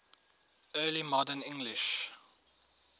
early modern english